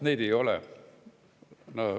Neid ei ole.